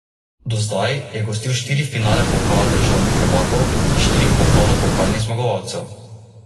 Kar se tiče izjave, da je trener poraženec, je pa treba pogledati malce kurikulum ...